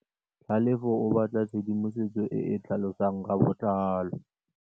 Tlhalefô o batla tshedimosetsô e e tlhalosang ka botlalô.